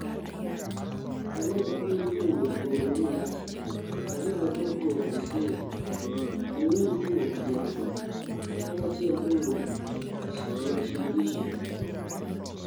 47 kawuok boma ma Mombasa , 28 kawuok Busia ,!4 kawuok Kiambu , 11 Kawuok Uasin Gishu